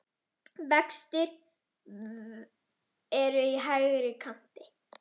Vextir eru í hærri kanti.